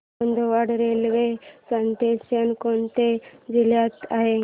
Bodwad railway station कोणत्या जिल्ह्यात आहे